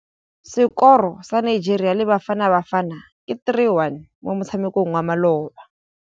Sekôrô sa Nigeria le Bafanabafana ke 3-1 mo motshamekong wa malôba.